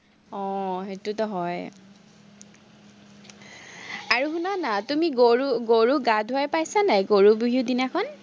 আহ সেটোতো হয়। আৰু শুনানা, তুমি গৰু গৰুক গা ধুৱাই পাইছা নাই, গৰু বিহুৰ দিনাখন?